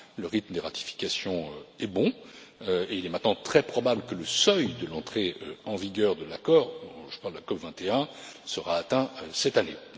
Le rythme des ratifications est bon et il est maintenant très probable que le seuil de l'entrée en vigueur de l'accord je parle de la COP 21 sera atteint cette année.